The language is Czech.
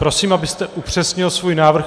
Prosím, abyste upřesnil svůj návrh.